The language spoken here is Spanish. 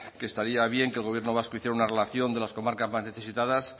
que estaría bien que el gobierno vasco hiciera una relación de las comarcas más necesitadas